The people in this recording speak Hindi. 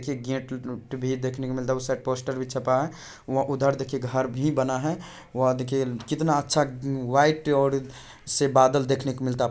की गेट वूट भी देखने को मिलता है उस साइड पोस्टर भी छपा है उधर देखिए घर भी बना है वहा देखिए कितना अच्छा व्हाइट और से बादल देखने को मिलता है।